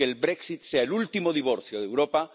que el Brexit sea el último divorcio de Europa